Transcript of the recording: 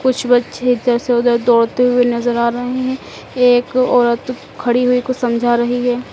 कुछ बच्चे इधर से उधर दौड़ते हुए नजर आ रहे हैं एक औरत खड़ी हुई कुछ समझा रही है।